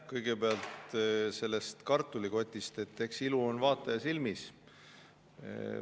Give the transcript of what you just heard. Kõigepealt sellest kartulikotist – eks ilu on vaataja silmis.